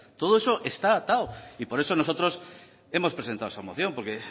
todo eso está atado y por eso nosotros hemos presentado esta moción porque